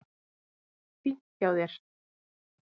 Fínt hjá þér.